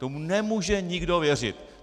Tomu nemůže nikdo věřit.